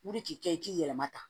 U de k'i kɛ i k'i yɛrɛma ta